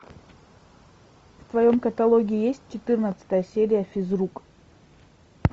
в твоем каталоге есть четырнадцатая серия физрук